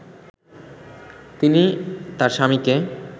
তিনি তার স্বামীকে